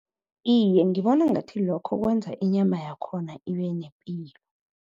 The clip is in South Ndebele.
Iye, ngibona ngathi lokho kwenza inyama yakhona